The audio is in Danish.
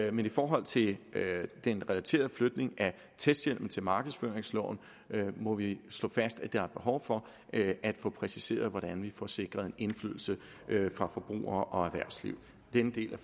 i forhold til den relaterede flytning af testhjemmel til markedsføringsloven må vi slå fast at der er behov for at få præciseret hvordan vi får sikret en indflydelse fra forbrugere og erhvervsliv denne del af